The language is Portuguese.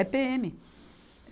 É PêEme.